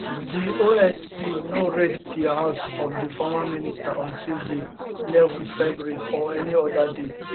di osp no raid di house of di former minister on tuesday eleven february or any oda day